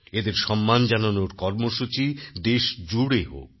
এদের সম্মান জানানোর কর্মসূচি দেশজুড়ে হোক